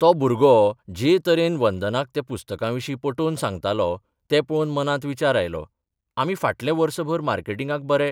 तो भुरगो जे तरेन वंदनाक त्या पुस्तकांविशीं पटोवन सांगतालो तें पळोवन मनांत विचार आयलो आमी फाटलें वर्सभर मार्केटिंगाक बरे